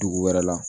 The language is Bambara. Dugu wɛrɛ la